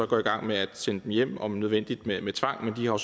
gå i gang med at sende dem hjem om nødvendigt med med tvang men de har